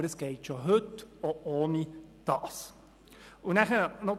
Aber es geht schon heute auch ohne dies.